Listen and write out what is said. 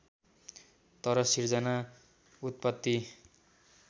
तर सिर्जना उत्पत्ति